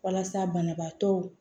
Walasa banabaatɔw